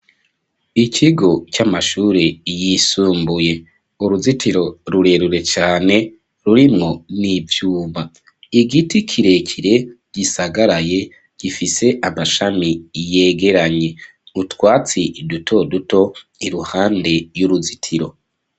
Ikigo, c'amashuri yisumbuye; uruzitiro rurerure cane, rurimwo n'ivyuma; igiti kirekire, gisagaraye, gifise amashami yegeranye; utwatsi duto duto, iruhande y'uruzitiro.